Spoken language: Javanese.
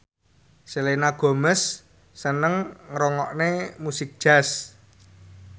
Selena Gomez seneng ngrungokne musik jazz